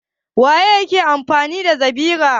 Wane ne ke amfani da zabira?